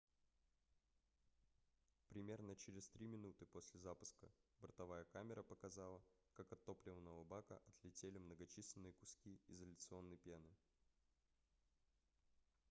примерно через 3 минуты после запуска бортовая камера показала как от топливного бака отлетели многочисленные куски изоляционной пены